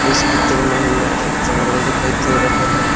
इस पिक्चर में हमें एक जंगल दिखाई दे रहा है।